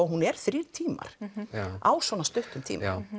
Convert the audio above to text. hún er þrír tímar á svona stuttum tíma